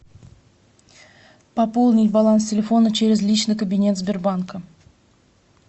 пополнить баланс телефона через личный кабинет сбербанка